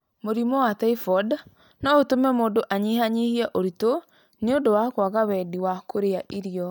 Mũrimũ wa typhoid no ũtũme mũndũ anyihanyihie uritũ nĩ ũndũ wa kwaga wendi wa kũrĩa irio